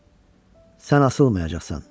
Sən asılmayacaqsan.